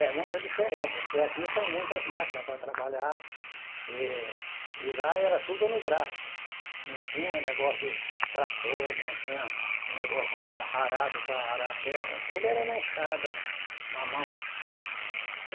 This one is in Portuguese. É, muito diferente, porque aqui tem muitas máquinas para trabalhar e e lá era tudo no braço, não tinha negócio de trator, não tinha negócio de tra arado para arar a terra, tudo era na enxada lá, na mão.